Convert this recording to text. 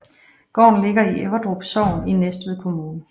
Gården ligger i Everdrup Sogn i Næstved Kommune